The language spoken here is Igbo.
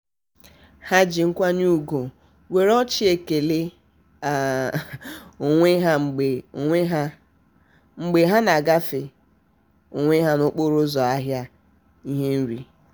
ha ji nkwanye ugwu were ọchị kelee um onwe ha mgbe onwe ha mgbe ha na-agafe onwe ha n'okporo ụzọ ahịa ihe nri.